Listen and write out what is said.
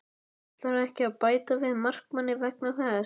Ætlarðu ekki að bæta við markmanni vegna þess?